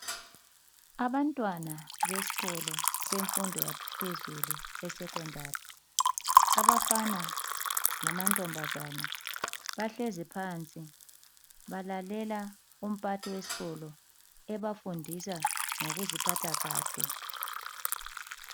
Abantwana beskolo semfundo yaphezulu, esekhondari. Abafana lamantombazana bahlezi phansi, balalela umphathi weskolo ebafundisa ngokuziphatha kahle.